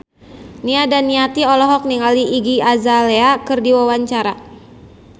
Nia Daniati olohok ningali Iggy Azalea keur diwawancara